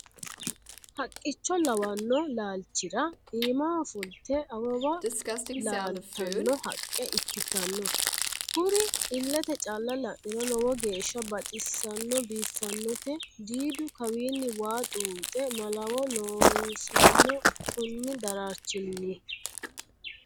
Haqqicho lawano laalachira iimaho fulte awawa laaltano haqqe ikkittano kuri ilete calla la'niro lowo geeshsha baxisano biifanote diiddu kawinni waa xuxe malawo loosano koni dararchinni.